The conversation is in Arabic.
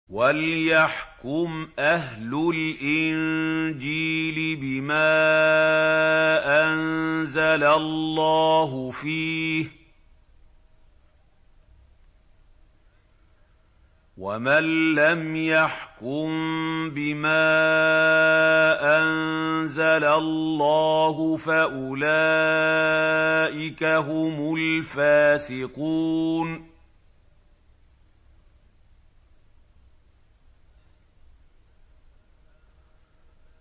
وَلْيَحْكُمْ أَهْلُ الْإِنجِيلِ بِمَا أَنزَلَ اللَّهُ فِيهِ ۚ وَمَن لَّمْ يَحْكُم بِمَا أَنزَلَ اللَّهُ فَأُولَٰئِكَ هُمُ الْفَاسِقُونَ